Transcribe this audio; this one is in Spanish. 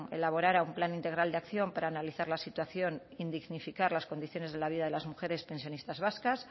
elaborara un plan integral de acción para analizar la situación en dignificar las condiciones de la vida de las mujeres pensionistas vascas